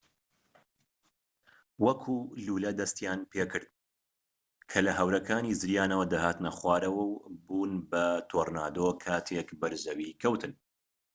وەک لوولە دەستیان پێکرد کە لە هەورەکانی زریانەوە دەهاتنە خوارەوە و بوون بە تۆرنادۆ کاتێک بەر زەوی کەوتن